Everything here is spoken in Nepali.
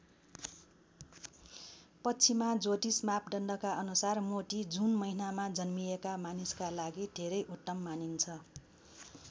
पश्चिमा ज्योतिष मापदण्डका अनुसार मोती जुन महिनामा जन्मिएका मानिसका लागि धेरै उत्तम मानिन्छ।